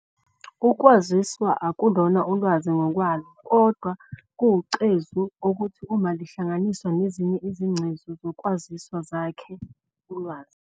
Ukwaziswa akulona ulwazi ngokwalo, kodwa kuwucezu okuthi uma lihlanganiswa nezinye izingcezu zokwaziswa zakhe ulwazi.